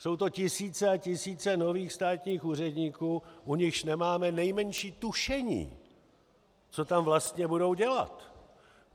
Jsou to tisíce a tisíce nových státních úředníků, u nichž nemáme nejmenší tušení, co tam vlastně budou dělat.